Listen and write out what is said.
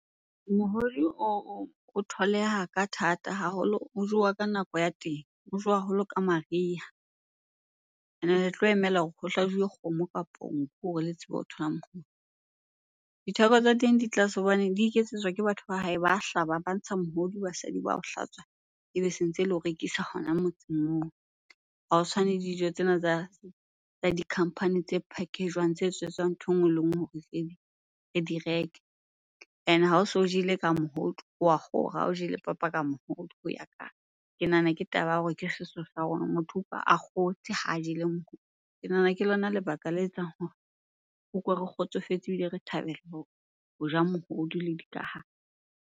Mohodu o tholeha ka thata haholo o jowa ka nako ya teng, o jowa haholo ka mariha. Ene le tlo emela hore ho hlajuwe kgomo kapo nku hore le tsebe o thola . Ditheko tsa teng di tlase hobane di iketsetswa ke batho ba hae. Ba hlaba, ba ntsha mohodu, basadi ba o hlatswa, ebe se ntse le o rekisa hona motseng moo. Ha ho tshwane dijo tsena tsa di-company tse package-jwang tse etsetswang ntho e nngwe le nngwe hore re di reke. Ene ha o so o jele ka mohodu wa kgora, ha o jele papa ka mohodu . Ke nahana ke taba ya hore ke ke setso sa rona, motho utlwa a kgotse ha jele . Ke nahana ke lona lebaka le etsang hore re utlwe re kgotsofetse ebile re thabela ho ja mohodu le dikahare.